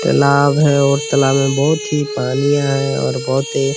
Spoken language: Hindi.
तालाब है और तालाब में बहुत ही पानिया है और बहुत ही --